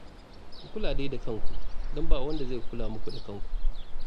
Ku kula dai da kanku don ba wanda zai kula muku da kanku